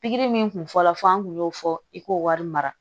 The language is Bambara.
Pikiri min tun fɔlɔ fɔ an tun y'o fɔ i k'o wari mara